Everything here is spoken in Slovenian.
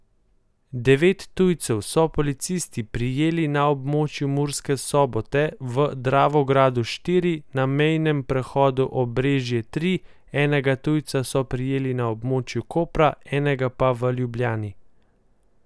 Devet tujcev so policisti prijeli na območju Murske Sobote, v Dravogradu štiri, na mejnem prehodu Obrežje tri, enega tujca so prijeli na območju Kopra, enega pa v Ljubljani.